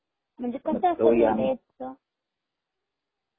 म्हणजे कस असत ते डेट च